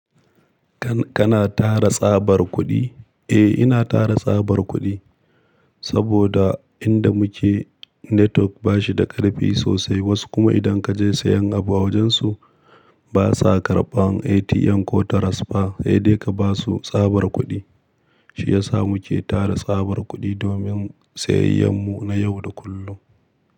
Kana tara tsabar kuɗi? Eh ina tara tsabar kuɗi, saboda inda muke network ba shi da ƙarfi sosai. Wasu kuma idan kaje sayan abu a wajen su, ba sa karɓan ATM ko transfer, sai dai ka basu tsabar kuɗi. Shi ya sa muke tara tsabar kuɗi domin sayayyar mu na yau da kullum.